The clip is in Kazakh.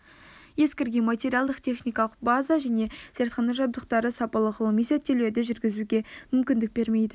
ескірген материалдық-техникалық база және зертхана жабдықтары сапалы ғылыми зерттеулерді жүргізуге мүмкіндік бермейді